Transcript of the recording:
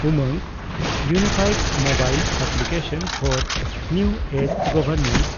UMANG – unified mobile application for new age governance